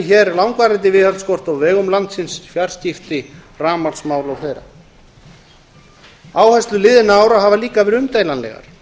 hér langvarandi viðhaldsskort á vegum landsins fjarskipti rafmagnsmál og fleiri áherslur liðinna ára hafa líka verið umdeilanlegar